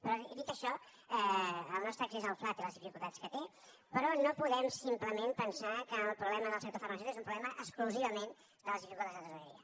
però dit això el nostre accés al fla té les dificultats que té però no podem simplement pensar que el problema del sector farmacèutic és un problema exclusivament de les dificultats de tresoreria